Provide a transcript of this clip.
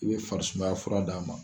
I be fari sumaya fura d'a ma.